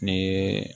Ni